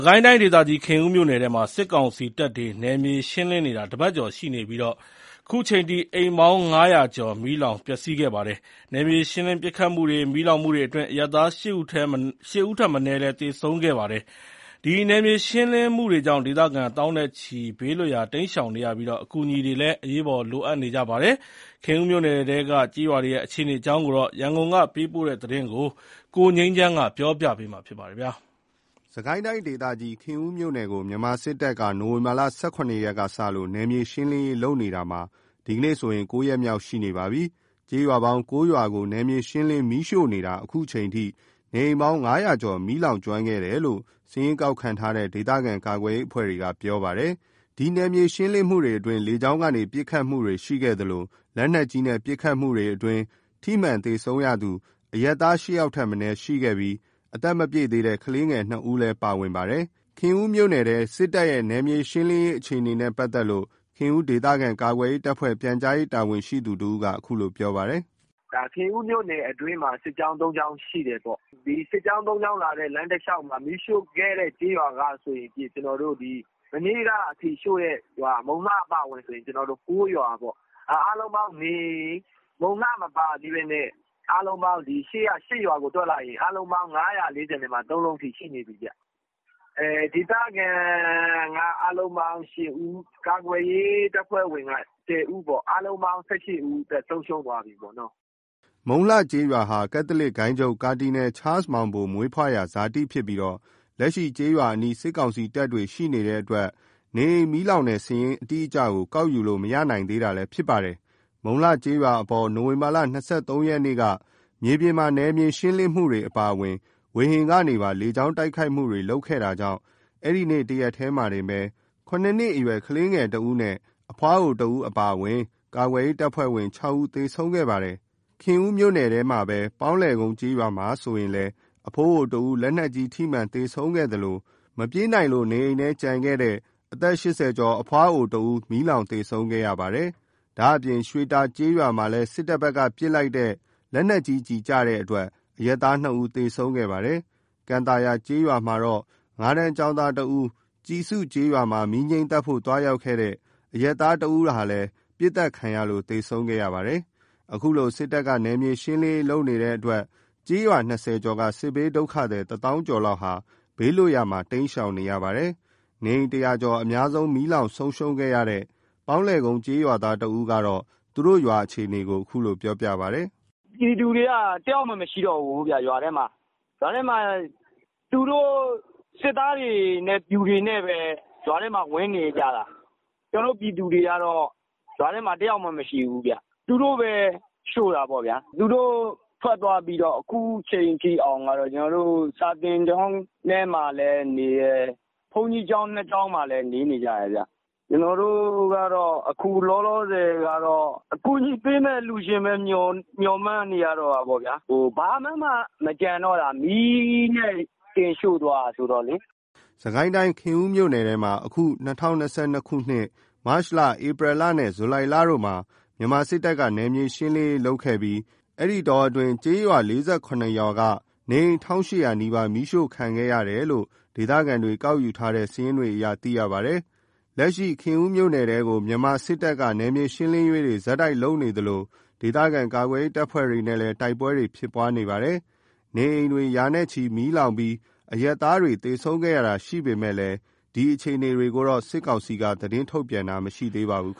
ကိုင်းတိုင်းဒေသကြီး ခင်ဦးမြို့နယ်ထဲမှာ စစ်ကောင်စီတပ်တွေ နယ်မြေရှင်းလင်းနေတာ တပတ်ကျော်ရှိနေပြီး ခုချိန်ထိ အိမ်ပေါင်း ၅၀၀ ကျော် မီးလောင်ပျက်စီးခဲ့ပါတယ်။ နယ်မြေရှင်းလင်းပစ်ခတ်မှုတွေ၊ မီးလောင်မှုတွေအတွင်း အရပ်သား ၈ ဦးထက်မနည်း သေဆုံးခဲ့ပါတယ်။ ဒီနယ်မြေရှင်းလင်းမှုတွေကြောင့် ဒေသခံသောင်းနဲ့ချီ ဘေးလွတ်ရာ တိမ်းရှောင်နေကြရပြီး အကူအညီတွေ အရေးပေါ် လိုအပ်နေကြပါတယ်။ ခင်ဦးမြို့နယ်ထဲက ကျေးရွာတွေရဲ့ အခြေအနေအကြောင်း ရန်ကုန်ကပေးပို့တဲ့သတင်းကို ကိုငြိမ်းချမ်းက တင်ပြပေးပါတယ်။ စစ်ကိုင်းတိုင်းဒေသကြီး ခင်ဦးမြို့နယ်ကို မြန်မာစစ်တပ်က နိုဝင်ဘာ ၁၇ ရက်ကစလို့ နယ်မြေရှင်းလင်းနေတာ ဒီကနေ့ဆိုရင် ၉ ရက်မြောက် ရှိနေပါပြီ။ ကျေးရွာပေါင်း ၉ ရွာကို နယ်မြေရှင်းလင်း မီးရှို့နေတာ အခုချိန်အထိ နေအိမ်ပေါင်း ၅၀၀ ကျော် မီးလောင်ကျွမ်းခဲ့တယ်လို့ စာရင်းကောက်ခံထားတဲ့ ဒေသခံကာကွယ်ရေးအဖွဲ့တွေက ပြောပါတယ်။ ဒီနယ်မြေရှင်းလင်းမှုတွေအတွင်း လေကြောင်းကနေ ပစ်ခတ်မှုတွေရှိခဲ့သလို လက်နက်ကြီးနဲ့ ပစ်ခတ်မှုအတွင်း ထိမှန်သေဆုံးသူ အရပ်သား ၈ ယောက်ထက်မနည်းရှိခဲ့ပြီး အသက်မပြည့်သေးတဲ့ ကလေးငယ် ၂ ဦးလည်း ပါဝင်ပါတယ်။ ခင်ဦးမြို့နယ်ထဲ စစ်တပ်ရဲ့ နယ်မြေရှင်းလင်းရေးအခြေအနေနဲ့ပတ်သက်လို့ ခင်ဦးဒေသခံကာကွယ်ရေးတပ်ဖွဲ့ ပြန်ကြားရေး တာဝန်ရှိသူတဦးက အခုလိုပြောပြပါတယ်။ “ခင်ဦးမြို့နယ်အတွင်းမှာ စစ်ကြောင်း ၃ ကြောင်းရှိတယ်ပေါ့။ စစ်ကြောင်း ၃ ကြောင်းမှာ မီးရှို့ခဲ့တဲ့ ကျေးရွာကဆိုရင် မနေ့ကအထိ ရှို့တဲ့ရွာ မုံလှအပါအဝင်ဆိုရင် ၉ ရွာပေါ့။ မုံလှ မပါသေးဘဲနဲ့ အားလုံးပေါင်း အရှေ့က ၈ ရွာကို တွက် လိုက်ရင် အားလုံးပေါင်း ၅၄၃ လုံးရှိနေပြီဗျ။ ဒေသခံက အားလုံး ၈ ဦး၊ ကာကွယ်ရေးအဖွဲ့က ၁၀ ဦး အားလုံးပေါင်း ၁၈ ဦး အသက်ဆုံးရှုံးသွားပြီပေါ့။” မုံလှကျေးရွာဟာ ကက်သလစ်ဂိုဏ်းချုပ် ကာဒီနယ် ချားလ်စ်မောင်ဘို မွေးဖွားရာဇာတိဖြစ်ပြီး လက်ရှိကျေးရွာအနီး စစ်ကောင်စီတပ်တွေရှိနေတဲ့အတွက် နေအိမ်မီးလောင်တဲ့စာရင်း အတိအကျကို ကောက်ယူလို့မရနိုင်သေးတာလည်း ဖြစ်ပါတယ်။ မုံလှကျေးရွာအပေါ် နိုဝင်ဘာ ၂၃ ရက်က မြေပြင်မှာ နယ်မြေရှင်းမှုအပြင် လေကြောင်း တိုက်ခိုက်မှုတွေပါလုပ်ခဲ့တာကြောင့် အဲ့နေ့တရက်တည်းမှာတင် ၇ အရွယ် ကလေးငယ် ၁ ဦး၊ အဖွားအို ၁ ဦး အပါအဝင် ကာကွယ်ရေးအဖွဲ့ဝင် ၆ ဦး သေဆုံးခဲ့ပါတယ်။ ခင်ဦးမြို့နယ်ထဲကပဲ ပေါင်းလည်ကုန်းကျေးရွာမှာဆိုရင်လည်း အဖိုးအိုတဦး လက်နက်ကြီး ထိမှန်သေဆုံးခဲ့သလို မပြေးနိုင်လို့ နေအိမ်ထဲကျန်နေတဲ့ အသက် ၈၀ ကျော်အဖွားအိုတဦး မီးလောင်သေဆုံးခဲ့ရပါတယ်။ ဒါ့အပြင် ရွှေတာကျေးရွာမှာလည်း စစ်တပ်ဘက်ကပစ်လိုက်တဲ့ လက်နက်ကြီးကျည်ကျလို့ အရပ်သား၂ ဦး သေဆုံးခဲ့ပါတယ်။ ကန်သာယာကျေးရွာမှာတော့ ၅ တန်း ကျောင်းသား ၁ ဦး၊ ကျဉ်စုကျေးရွာမှာ မီးငြိမ်းသတ်ဖို့ သွားရောက်တဲ့ အရပ်သား ၁ ဦးတို့လည်း ပစ်ခတ်ခံရလို့ သေဆုံးခဲ့ပါတယ်။ အခုလို စစ်တပ်က နယ်မြေရှင်းလင်းလင်းရေးလုပ်နေတဲ့အတွက် ကျေးရွာ ၂၀ ကျော်က စစ်ဘေးဒုက္ခသည် ၁ သောင်းကျော်ဟာ ဘေးလွတ်ရာ နေရာတွေမှာ တိမ်းရှောင်နေကြရပါတယ်။ နေအိမ် ၁၀၀ ကျော်အများဆုံး မီးလောင်ဆုံးရှုံးခဲ့တဲ့ ပေါင်းလည်ကုန်းကျေးရွာသားတဦးက သူတို့ရွာရဲ့ အခြေအနေကို အခုလိုပြောပြပါတယ်။ “ပြည်သူတွေက တယောက်မှမရှိတော့ဘူးဗျ။ ရွာထဲမှာ သူတို့ စစ်သားတွေနဲ့ပျူတွေနဲ့ပဲ ရွာထဲမှာ ဝင်နေကြတာ။ ကျနော်တို့ပြည်သူတွေကတော့ ရွာထဲမှာ တယောက်မှ မရှိဘူးဗျ။ သူတို့ပဲရှို့တာပေါ့ဗျ။ သူတို့ထွက်သွားပြီးတော့ အခုချိန်ထိအောင် ကျနော်တို့ စာသင်ကျောင်းထဲမှာလည်းနေတယ်။ ဘုန်းကြီးကျောင်း ၂ ကျောင်းမှာလည်း နေနေကြတယ်ခင်ဗျ။ ကျနော်တို့က အခုလောလောဆယ်က အကူညီပေးမယ့်အလှူရှင်ပဲ မျှော်မှန်းနေရတော့တာပေါ့ဗျာ။ ဘာမှမကျန်တော့တာ မီးနဲ့တင်ရှို့သွားတာဆိုတော့လေ။” စစ်ကိုင်းတိုင်း ခင်ဦးမြို့နယ်ထဲမှာ အခု ၂၀၂၂ ခုနှစ် မတ်လ ၊ ဧပြီလ နဲ့ ဇူလိုင်လတို့မှာ မြန်မာစစ်တပ်က နယ်မြေရှင်းလင်းရေးလုပ်ခဲ့ပြီး အဲ့ဒီတောအတွင်းမှာ ကျေးရွာ ၄၇ ရွာက နေအိမ် ၁,၈၀၀ နီးပါး မီးရှို့ခံခဲ့ရတယ်လို့ ဒေသခံတွေ ကောက်ယူထားတဲ့ စာရင်းတွေအရ သိရပါတယ်။ လက်ရှိမှာ ခင်ဦးမြို့နယ်ထဲကို မြန်မာစစ်တပ်က နယ်မြေရှင်းလင်းရေးတွေ ဆက်တိုက်ဆိုသလို ပြုလုပ်နေသလို ဒေသခံကာကွယ်ရေး တပ်ဖွဲ့တွေနဲ့လည်း တိုက်ပွဲတွေဖြစ်ပွားနေပါတယ်။ နေအိမ်တွေ ရာနဲ့ချီမီးလောင်ပြီး အရပ်သားတွေ သေဆုံးခဲ့ရတာတွေရှိပေမယ့် ဒီအခြေအနေတွေကိုတော့ စစ်ကောင်စီက သတင်းထုတ်ပြန်တာ မရှိသေးပါဘူး။